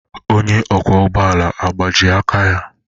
Onye ọkwọ ụgbọ ala agbajie aka ya?